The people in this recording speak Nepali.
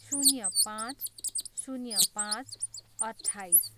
शून्य पाँच. शून्य पाँच, अट्ठाइस